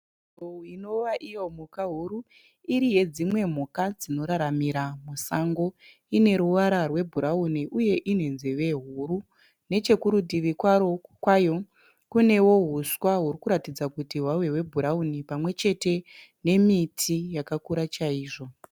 Nzou inova iyo mhuka huru iri yedzimwe mhuka dzinoraramira musango. Ine ruvara rwebhurauni uye ine nzeve huru, neche kurutivi kwayo kunewo huswa huri kuratidza kuti hwave hwebhurauni pamwe chete nemiti yakakura chaizvo.